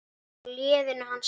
Á leiðinu hans Lása?